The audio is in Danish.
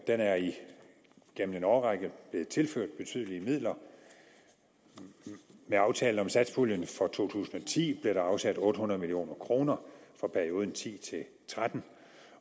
igennem en årrække blevet tilført betydelige midler med aftalen om satspuljen for to tusind og ti blev der afsat otte hundrede million kroner for perioden og ti til tretten